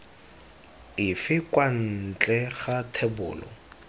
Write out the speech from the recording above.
efe kwa ntle ga thebolo